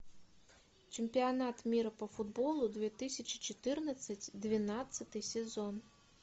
чемпионат мира по футболу две тысячи четырнадцать двенадцатый сезон